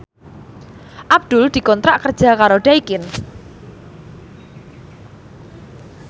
Abdul dikontrak kerja karo Daikin